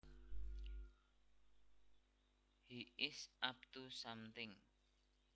He is up to something